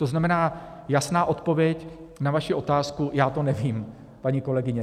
To znamená, jasná odpověď na vaši otázku, já to nevím, paní kolegyně.